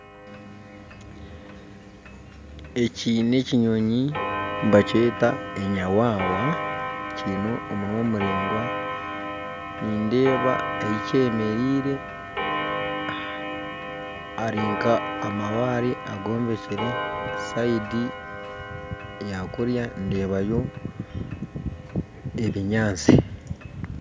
Eki nekinyonyi nibakyeta enyawawa kyine omunwa muraingwa nindeeba ahikyemereire harinka amabaare agombekire sayidi eyakuriya ndebayo ebinyantsi.